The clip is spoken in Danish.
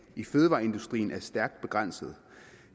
i fødevareindustrien er stærkt begrænset